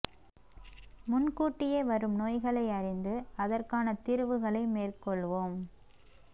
முன் கூட்டியே வரும் நோய்களை அறிந்து அதற்கான தீர்வுகளை மேற்கொள்வோம்